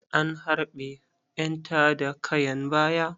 An harɓe ƴan tada kayan baya.